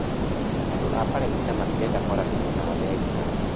Andũ a Palesitina matirenda kwaranĩria na Amerika.